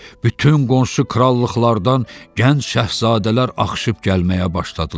Bütün qonşu krallıqlardan gənc şahzadələr axışıb gəlməyə başladılar.